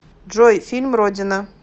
джой фильм родина